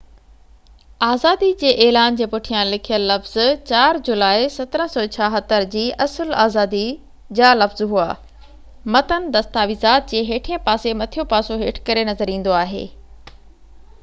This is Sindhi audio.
آزادي جي اعلان جي پٺيان لکيل لفظ 4 جولاءِ 1776 جي اصل آزادي جا لفظ هئا متن دستاويز جي هيٺئين پاسي مٿيون پاسو هيٺ ڪري نظر ايندو آهي